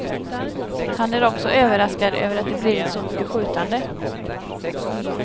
Han är också överraskad över att det blivit så mycket skjutande.